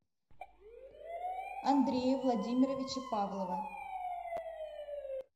андрея владимировича павлова